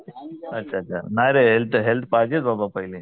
नाही रे health health पाहिजेच बाबा पहिले